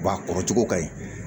Wa a kɔrɔcogo ka ɲi